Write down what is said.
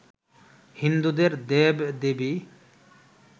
হিন্দুদের দেব-দেবী